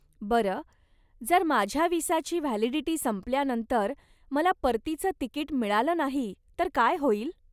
बरं, जर माझ्या विसाची व्हॅलिडिटी संपल्यानंतर मला परतीचं तिकीट मिळालं नाही तर काय होईल?